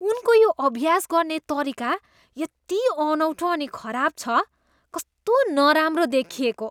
उनको यो अभ्यास गर्ने तरिका यति अनौठो अनि खराब छ। कस्तो नराम्रो देखिएको।